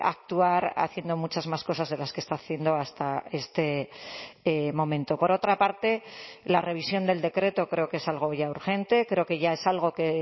actuar haciendo muchas más cosas de las que está haciendo hasta este momento por otra parte la revisión del decreto creo que es algo ya urgente creo que ya es algo que